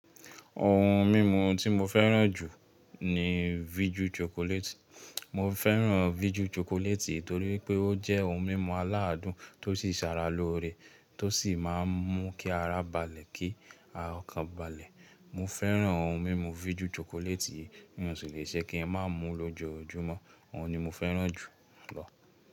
Ohun mímu tí mo fẹ́ràn jù ni vijú chocolate. Mo fẹ́ràn vijú chocolate torí pé ó jẹ́ ohun mímu aládùn tó sì sara loore, tó sì máa ń mú kí ara balẹ̀ kí ọkàn balẹ̀. Mo fẹ́ràn ohun mímu vijú chocolate yii, mi ó sì le ṣe kíi má mú lójoójúmọ́, òhun ni mo fẹ́ràn jù lọ.